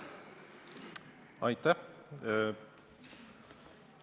Aitäh!